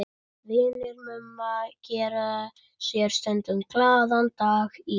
Vinir Mumma gera sér stundum glaðan dag í